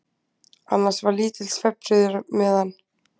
Annars var lítill svefnfriður meðan